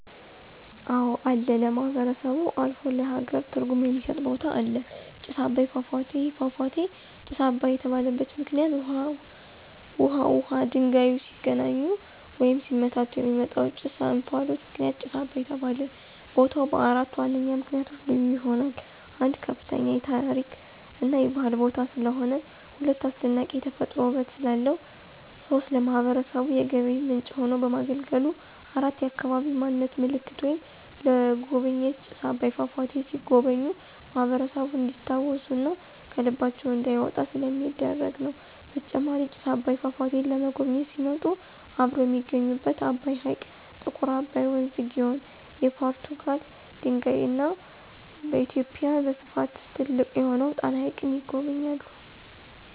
አወ አለ ለማህበረሰቡ አልፎ ለሃገር ትርጉም የሚስጥ ቦታ አለ። ጭስ አባይ ፏፏቴ። ይህ ፏፏቴ ጭስ አባይ የተባለበት ምክንይት ውሃውና ድንጋዩ ሲገናኙ ወይም ሲመታቱ የሚወጣው ጭስ /እንፍሎት ምክንያት ጭስ አባይ ተባለ። ቦታው በአራት ዋነኛ ምክንያቶች ልዩ ይሆናል። 1, ከፍተኛ የታሪክ እና የባህል ቦታ ስለሆነ። 2, አስደናቂ የተፈጥሮ ውበት ስላለው። 3, ለማህበረሰቡ የገቢ ምንጭ ሆኖ በማገልገሉ። 4, የአካባቢ ማንነት ምልክት ወይም ለጎብኝዎች ጭስ አባይ ፏፏቴ ሲጎበኙ ማህበረሰቡን እንዲስታውሱ እና ከልባቸው እንዳይወጣ ስለሚደረግ ነው። በተጨማሪም ጭስ አባይን ፏፏቴን ለመጎብኝት ሲመጡ አብረው የሚጎበኙት አባይ ሕይቅ፣ ጥቁር አባይ ወንዝ(ግዮን) ፣የፖርቱጋል ድልድይ እና በኢትዮጵያ በስፍት ትልቅ የሆነውን ጣና ሀይቅን ይጎበኛሉ።